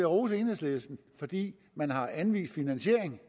rose enhedslisten fordi man har anvist finansiering